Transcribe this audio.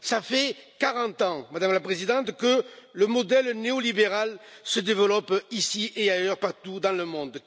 Cela fait 40 ans, Madame la Présidente, que le modèle néolibéral se développe ici et ailleurs partout dans le monde.